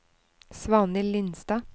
Svanhild Lindstad